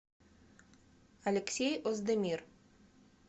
алексей оздемир